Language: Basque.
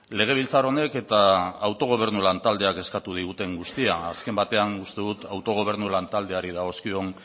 legebiltzar honek eta autogobernu lantaldeak eskatu diguten guztia azken batean uste dut autogobernu lantaldeari dagozkion